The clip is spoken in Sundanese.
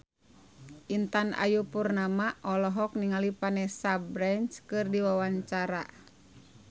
Intan Ayu Purnama olohok ningali Vanessa Branch keur diwawancara